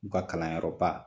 U ka kalanyɔrɔba